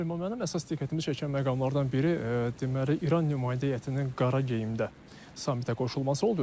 Süleyman müəllim, əsas diqqətimi çəkən məqamlardan biri, deməli, İran nümayəndə heyətinin qara geyində samitə qoşulması oldu.